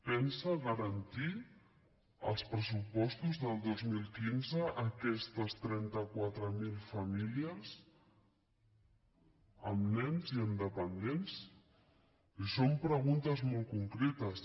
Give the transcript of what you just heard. pensa garantir als pressu·postos del dos mil quinze aquestes trenta quatre mil famílies amb nens i amb dependents i són preguntes molt concretes